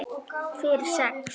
Fyrir sex?